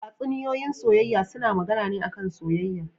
Tatsuniyoyin soyayya suna magAna ne a kan soyayya